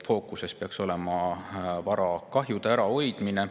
Fookuses peaks olema varakahjude ärahoidmine.